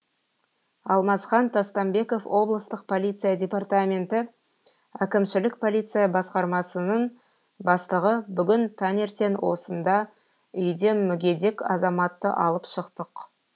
алмасхан тастанбеков облыстық полиция департаменті әкімшілік полиция басқармасының бастығы бүгін таңертең осында үйден мүгедек азаматты алып шықтық